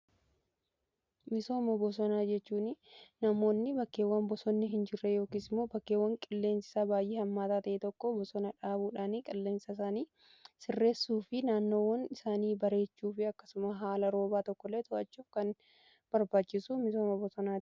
Misooma bosonaa jechuun namoonni bakkeewwan bosonni hin jirre yookiis moo bakkeewwan qilleensisaa baay'ee hammaataa ta'ee tokko bosonaa dhaabuudhaanii qilleensaa isaanii sirreessuu fi naannoowwan isaanii bareechuu fi akkasuma haala roobaa tokkollee to'achuuf kan barbaachisu misooma bosona.